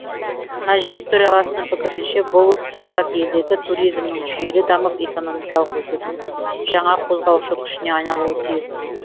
мәжіліс төрағасының пікірінше бұл құжат елдегі туризмнің жүйелі дамып экономикалық өсудің жаңа қозғаушы күшіне айналуы тиіс